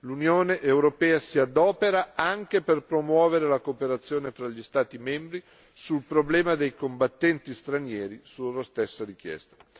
L'Unione europea si adopera anche per promuovere la cooperazione fra gli Stati membri sul problema dei combattenti stranieri, su loro stessa richiesta.